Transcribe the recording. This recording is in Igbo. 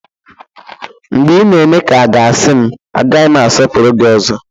Mgbe ị na-eme ka a ga-asị m, agaghị m asọpụrụ gị ọzọ